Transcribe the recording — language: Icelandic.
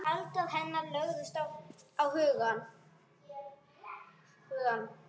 Galdrar hennar lögðust á hugann.